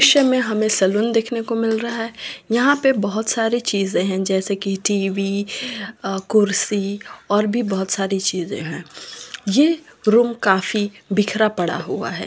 दृश्य में हमे सलून देखने को मिल रहा है यहाँ पे बहोत सारी चीज़े है जैसे की टी. वि. अ कुर्सी और भी बहोत सारी चीज़े है ये रूम काफी बिखरा पड़ा हुआ है।